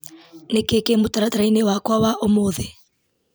nĩ kĩĩ kĩ mũtaratara-inĩ wakwa wa ũmũthĩ